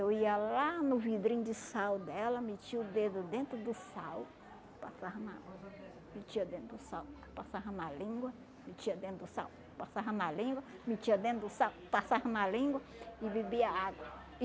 Eu ia lá no vidrinho de sal dela, metia o dedo dentro do sal, passava na água, metia dentro do sal, passava na língua, metia dentro do sal, passava na língua, metia dentro do sal, passava na língua e bebia água.